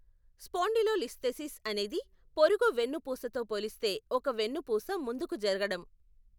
Spondylolisthesis అనేది పొరుగు వెన్నుపూసతో పోలిస్తే ఒక వెన్నుపూస ముందుకు జరగడం.